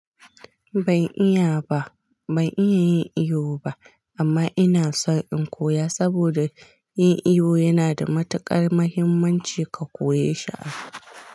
Ban iya ba, ban iya yin iyo ba amma ina son in koya saboda yin iyo yana da matuƙar muhimmanci ka koya ye shi.